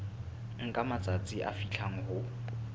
nka matsatsi a fihlang ho